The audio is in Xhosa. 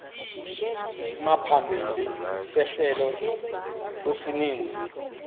isimaphambili sehlelo kwisininzi